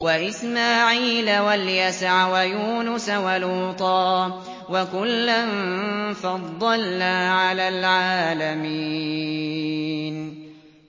وَإِسْمَاعِيلَ وَالْيَسَعَ وَيُونُسَ وَلُوطًا ۚ وَكُلًّا فَضَّلْنَا عَلَى الْعَالَمِينَ